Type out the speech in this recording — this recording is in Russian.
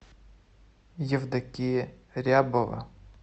евдокия рябова